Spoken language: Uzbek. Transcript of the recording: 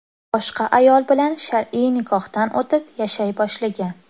boshqa ayol bilan shar’iy nikohdan o‘tib, yashay boshlagan.